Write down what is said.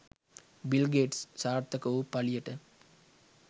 bill Gates සාර්ථක වූ පලියට